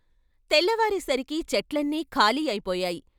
తెల్లవారేసరికి చెట్లన్నీ ఖాళీ అయిపోయాయి.